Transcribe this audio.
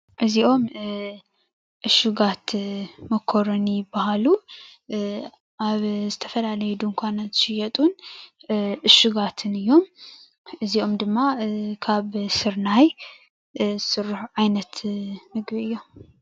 እዚኦም እሹጋት መኮረኒ ይባሃሉ። ኣብ ዝተፈላለዩ ድንኳናት ዝሽየጡን እሹጋትን እዮም። እዚኦም ድማ ካብ ስርናይ ዝስርሑ ዓይነት ምግቢ እዮም፡፡